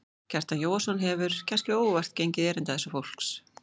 Kjartan Jóhannsson hefur, kannske óvart, gengið erinda þessa fólks.